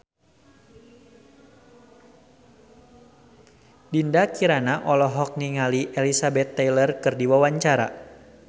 Dinda Kirana olohok ningali Elizabeth Taylor keur diwawancara